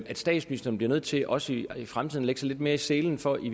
at statsministeren bliver nødt til også i fremtiden at lægge sig lidt mere i selen for i